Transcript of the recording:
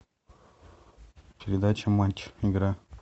передача матч игра